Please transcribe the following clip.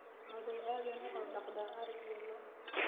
oday Aadan wuxuu daqda ari iyo loo